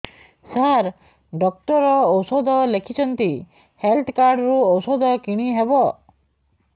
ସାର doctor ଔଷଧ ଲେଖିଛନ୍ତି health card ରୁ ଔଷଧ କିଣି ହେବ